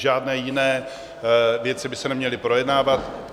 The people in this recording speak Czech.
Žádné jiné věci by se neměly projednávat.